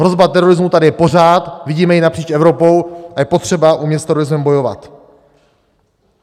Hrozba terorismu je tady pořád, vidíme ji napříč Evropou a je potřeba umět s terorismem bojovat.